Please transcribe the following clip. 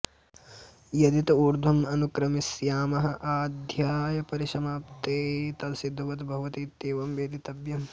यदित ऊर्ध्वम् अनुक्रमिष्यामः आ अध्यायपरिसमाप्तेः तदसिद्धवत् भवति इत्येवं वेदितव्यम्